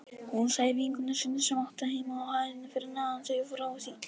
Hún sagði vinkonu sinni sem átti heima á hæðinni fyrir neðan þau frá því.